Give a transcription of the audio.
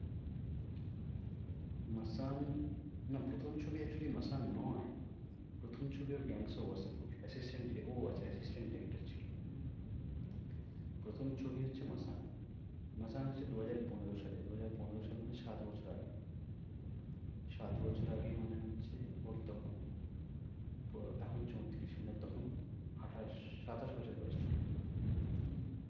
মাসান হচ্ছে দু হাজার পনেরোসালে। দু হাজার পনেরো সাল মানে সাত বছর আগে সাত বছর আগে মানে হচ্ছে ওর তখন আহ এখন চৌত্রিশ মানে তখন আঠাশ সাতাশ বছর বয়স ছিল হম